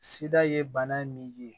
Sida ye bana min ye